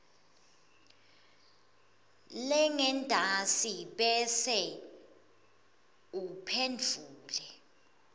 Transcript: lengentasi bese uphendvula